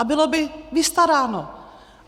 A bylo by vystaráno.